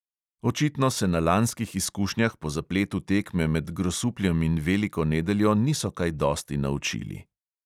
Očitno se na lanskih izkušnjah po zapletu tekme med grosupljem in veliko nedeljo niso kaj dosti naučili.